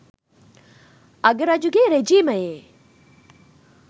අග රජුගේ රෙජීමයේ